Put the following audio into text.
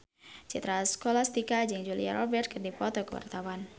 Citra Scholastika jeung Julia Robert keur dipoto ku wartawan